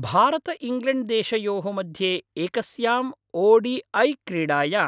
भारतइङ्ग्लेण्ड्देशयोः मध्ये एकस्याम् O D I क्रीडायां